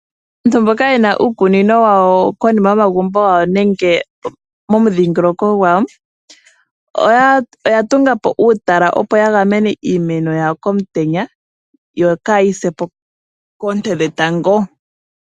Aantu mboka yena uukunino wawo konima yomagumbo gawo nenge momudhingoloko gwawo oya tunga po uutala, opo ya gamene iimeno yawo komutenya yo kaayi se po koonte dhetango.